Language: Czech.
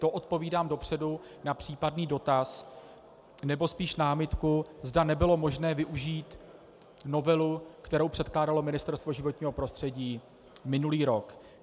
To odpovídám dopředu na případný dotaz, nebo spíše námitku, zda nebylo možné využít novelu, kterou předkládalo Ministerstvo životního prostředí minulý rok.